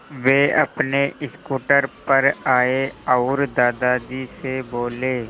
वे अपने स्कूटर पर आए और दादाजी से बोले